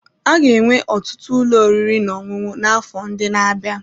A ga-enwe ọtụtụ ụlọ oriri na ọṅụṅụ n'afọ ndị na-abịa.